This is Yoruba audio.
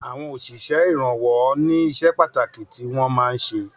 Àwọn òsísè ìrànwọ́ ní iṣẹ pàtàkì tí wọn máa ń ṣe